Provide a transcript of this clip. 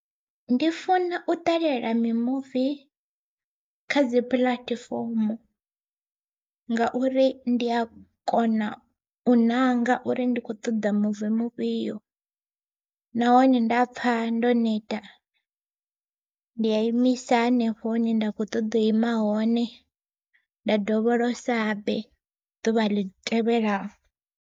Ndi funa u ṱalela mimuvi kha dzi puḽatifomo, ngauri ndi a kona u ṋanga uri ndi kho ṱoḓa muvi mufhio nahone nda pfha ndo neta ndi a imisa henefho hune nda kho ṱoḓa u ima hone, nda dovholosa habe ḓuvha ḽi tevhelaho.